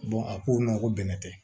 a ko n ma ko bɛnɛ tɛ